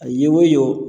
A ye wo ye